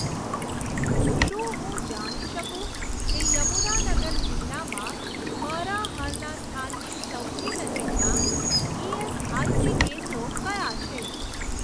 શું હું જાણી શકું કે યમુનાનગર જિલ્લામાં મારા હાલના સ્થાનની સૌથી નજીકનાં ઇએસઆઇસી કેન્દ્રો કયાં છે?